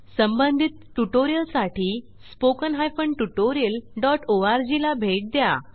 संबंधित ट्यूटोरियल साठी spoken hyphen tutorialओआरजी ला भेट द्या